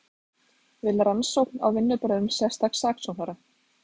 Vill rannsókn á vinnubrögðum sérstaks saksóknara